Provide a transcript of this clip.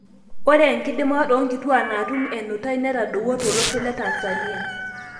Ore enkidimata onkituak natum enutai netadowuo tolosho le Tanzania.